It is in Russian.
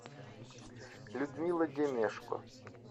людмила демешко